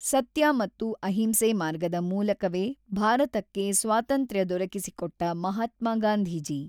ಸತ್ಯ ಮತ್ತು ಅಹಿಂಸೆ ಮಾರ್ಗದ ಮೂಲಕವೇ ಭಾರತಕ್ಕೆ ಸ್ವಾತಂತ್ರ್ಯ ದೊರಕಿಸಿ ಕೊಟ್ಟ ಮಹಾತ್ಮ ಗಾಂಧೀಜಿ.